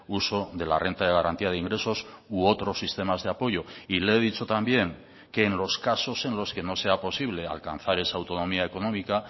uso de la renta de garantía de ingresos u otros sistemas de apoyo y le he dicho también que en los casos en los que no sea posible alcanzar esa autonomía económica